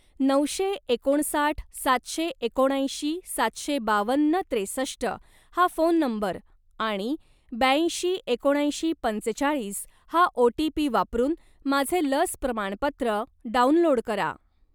नऊशे एकोणसाठ सातशे एकोणऐंशी सातशे बावन्न त्रेसष्ट हा फोन नंबर आणि ब्याऐंशी एकोणऐंशी पंचेचाळीस हा ओ.टी.पी. वापरून माझे लस प्रमाणपत्र डाउनलोड करा.